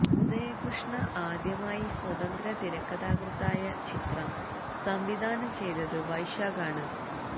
ഉദയകൃഷ്ണ ആദ്യമായി സ്വതന്ത്ര തിരക്കഥാകൃത്തായ ചിത്രം സംവിധാനം ചെയ്തത് വൈശാഖാണ്